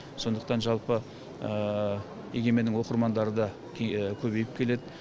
сондықтан жалпы егеменнің оқырмандары да көбейіп келеді